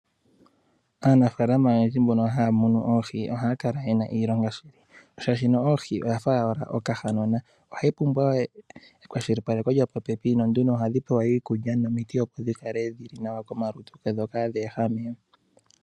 Aanafaalama oyendji mbono haa munu oohi ohaya kala yena iilonga shaashi ohi oya fa owala oka hanona ohayi pumbwa ekwashilipaleko lyo popepi, no nduno ohadhi pewa iikulya nomiti opo dhi kale dhili nawa komalutu dho kaa dhi ehame.